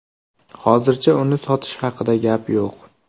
Hozircha uni sotish haqida gap yo‘q”.